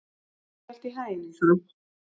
Gangi þér allt í haginn, Eyþóra.